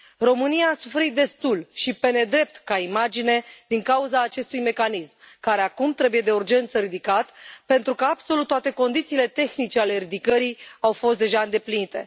România a suferit destul și pe nedrept, ca imagine, din cauza acestui mecanism, care acum trebuie de urgență ridicat pentru că absolut toate condițiile tehnice ale ridicării au fost deja îndeplinite.